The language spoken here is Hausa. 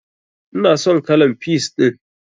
Ina son kalan peas ɗin.